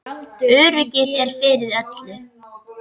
Öryggið er fyrir öllu.